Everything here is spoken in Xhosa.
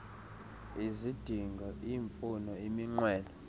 izidingo iimfuno iminqweno